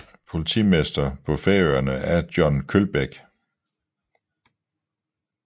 Politimester på Færøerne er John Kølbæk